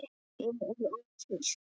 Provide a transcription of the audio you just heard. Ég er ófrísk!